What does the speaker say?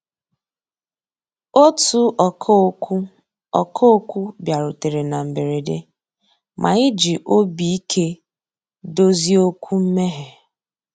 Ótú ọ̀kà òkwú ọ̀kà òkwú bìàrùtérè ná mbérèdé, mà ànyị́ jì òbí íké dòzié òkwú mméghé.